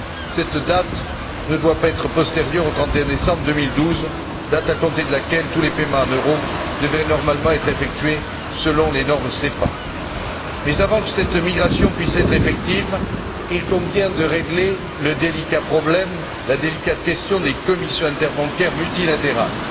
Cette date ne doit pas être postérieure au 31 décembre 2012, date à compter de laquelle tous les paiements en euros devraient normalement être effectués selon les normes SEPA. Mais avant que cette migration ne puisse être effective, il convient de régler le délicat problème, la délicate question des commissions interbancaires multilatérales.